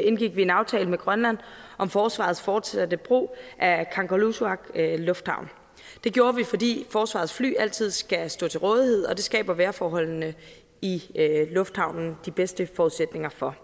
indgik vi en aftale med grønland om forsvarets fortsatte brug af kangerlussuaq lufthavn det gjorde vi fordi forsvarets fly altid skal stå til rådighed og det skaber vejrforholdene i lufthavnen de bedste forudsætninger for